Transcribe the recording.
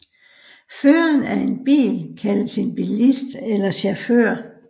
Føreren af en bil kaldes en bilist eller chauffør